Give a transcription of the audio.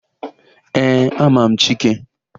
Ee, ama m Chike.